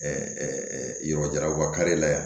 yɔrɔ jara u kari la yan